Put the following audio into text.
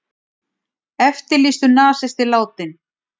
Eftirlýstur nasisti látinn